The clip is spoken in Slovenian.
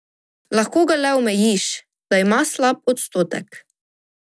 Lahko ga le omejiš, da ima slab odstotek.